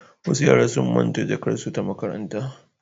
Wasu yara sun manta jakarsu ta makaranta.